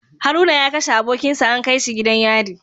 Haruna ya kashe abokinsa an kaishi gidan yari